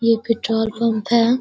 ये petrol pump है।